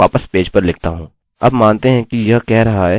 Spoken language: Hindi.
और मैं अपना if स्टेटमेंटstatement वापस पेज पर लिखता हूँ